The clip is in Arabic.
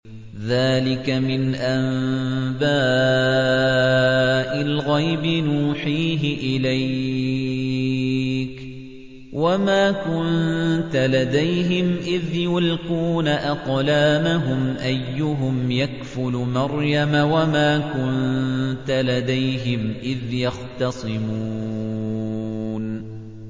ذَٰلِكَ مِنْ أَنبَاءِ الْغَيْبِ نُوحِيهِ إِلَيْكَ ۚ وَمَا كُنتَ لَدَيْهِمْ إِذْ يُلْقُونَ أَقْلَامَهُمْ أَيُّهُمْ يَكْفُلُ مَرْيَمَ وَمَا كُنتَ لَدَيْهِمْ إِذْ يَخْتَصِمُونَ